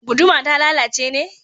Guduma ta lalace ne?